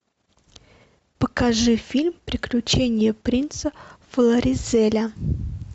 покажи фильм приключения принца флоризеля